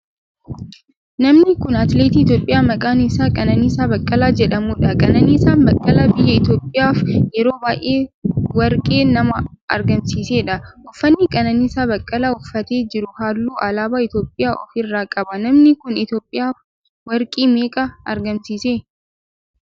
namni kun atileetii Itiyoophiyaa maqaan isaa Qananiisaa Baqqalaa jedhamudha. Qananiisaa Baqqalaa biyya Itiyoophiyaaf yeroo baayyee warqee nama argamiisedha. uffanni Qananisaa Baqqalaa uffatee jirun halluu alaabaa Itiyopophiyaa of irraa qaba. namni kun Itiyoophiyaaf warqee meeqa argamsiise?